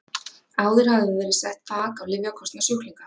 Áður hafði verið sett þak á lyfjakostnað sjúklinga.